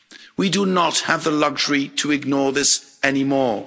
We do not have the luxury to ignore this any more.